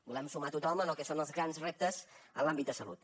volem sumar a tothom en el que són els grans reptes en l’àmbit de salut